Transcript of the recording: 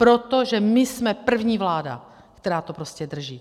Protože my jsme první vláda, která to prostě drží.